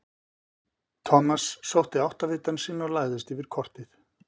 Thomas sótti áttavitann sinn og lagðist yfir kortið.